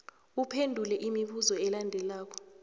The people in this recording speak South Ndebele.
uphendula imibuzo elandelako